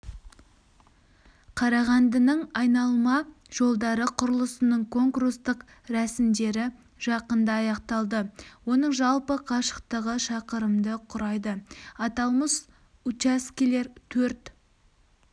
қарағандының айналма жолдары құрылысының конкурстық рәсімдері жақында аяқталды оның жалпы қашықтығы шақырымды құрайды аталмыш учаскелер төрт